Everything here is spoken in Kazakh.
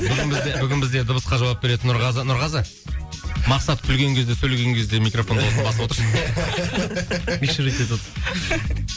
бүгін бізде бүгін бізде дыбысқа жауап беретін нұрғазы нұрғазы мақсат күлген кезде сөйлеген кезде микрофон дауысын басып отыршы